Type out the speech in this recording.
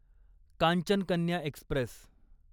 Kanchan Kanya Express